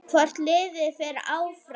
Hvort liðið fer áfram?